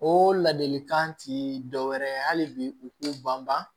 O ladilikan ti dɔ wɛrɛ ye hali bi u k'u banban